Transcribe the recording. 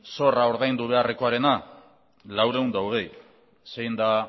zorra ordaindu beharrekoarena laurehun eta hogei zein da